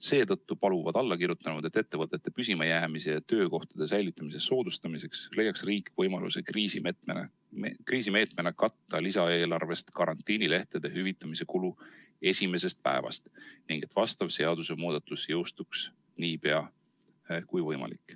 Seetõttu paluvad allakirjutanud, et ettevõtete püsimajäämise ja töökohtade säilitamise soodustamiseks leiaks riik võimaluse kriisimeetmena katta lisaeelarvest karantiinilehtede hüvitamise kulu esimesest päevast ning et vastav seadusemuudatus jõustuks nii pea kui võimalik.